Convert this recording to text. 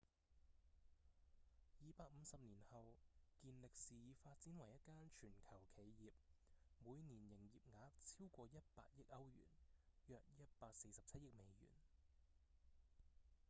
250年後健力士已發展為一間全球企業每年營業額超過100億歐元約147億美元